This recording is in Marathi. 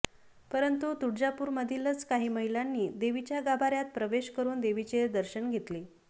परंतु तुळजापूरमधीलच काही महिलांनी देवीच्या गाभाऱ्यात प्रवेश करून देवीचे दर्शन घेतले